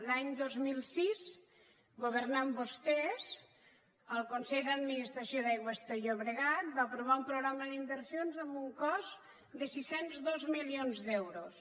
l’any dos mil sis governant vostès el consell d’administració d’aigües ter llobregat va aprovar un programa d’inversions amb un cost de sis cents i dos milions d’euros